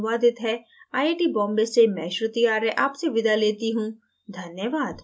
यह स्क्रिप्ट विकास द्वारा अनुवादित है आई आई टी बॉम्बे से मैं श्रुति आर्य आपसे विदा लेती हूँ धन्यवाद